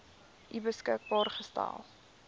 u beskikbaar gestel